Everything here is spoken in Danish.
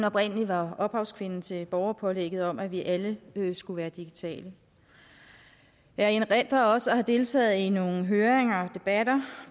oprindelig var ophavskvinde til borgerpålægget om at vi alle skulle være digitale jeg erindrer også at have deltaget i nogle høringer og debatter